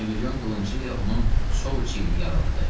Mirmilyon qılıncı ilə onun sol çiynini yaraladı.